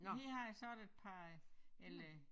Men her har jeg så et par eller